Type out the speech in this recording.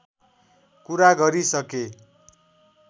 कुरा गरिसके